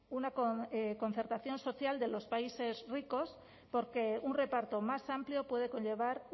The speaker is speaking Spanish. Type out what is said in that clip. una concertación social de los países ricos porque un reparto más amplio puede conllevar